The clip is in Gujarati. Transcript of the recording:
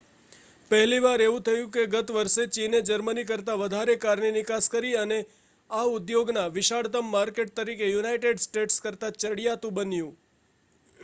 પહેલી વાર એવું થયું કે ગત વર્ષે ચીને જર્મની કરતાં વધારે કારની નિકાસ કરી અને આ ઉદ્યોગના વિશાળતમ માર્કેટ તરીકે યુનાઇટેડ સ્ટેટ્સ કરતાં ચડિયાતું બન્યું